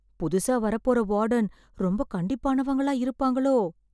புதுசா வரப்போற வார்டன் ரொம்ப கண்டிப்பானவங்களா இருப்பாங்களோ...